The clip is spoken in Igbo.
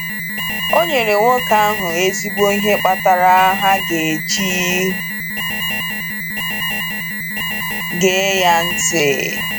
O nyere nwoke ahụ ezigbo ihe kpatara ha ga-eji gee ya ntị.